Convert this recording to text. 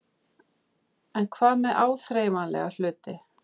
En hvað með áþreifanlega hluti?